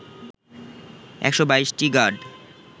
১২২টি গাড